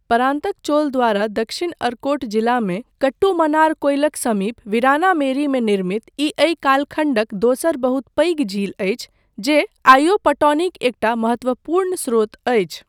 परान्तक चोल द्वारा दक्षिण अर्कोट जिलामे कट्टुमन्नारकोइलक समीप वीरानामेरीमे निर्मित ई एहि कालखण्डक दोसर बहुत पैघ झील अछि जे आइयो पटौनीक एकटा महत्वपूर्ण स्रोत अछि।